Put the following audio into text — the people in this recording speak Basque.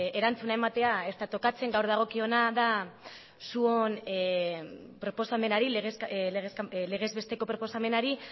erantzuna ematea ez da tokatzen gaur dagokiona da zuen proposamenari legez besteko proposamenari